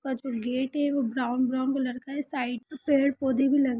वह जो गेट है वह ब्राउन ब्राउन कलर का है| साइड पे पेड़ पौधे भी लगे हुए है।